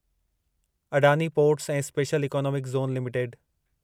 Adani ports ऐं special economic zone limited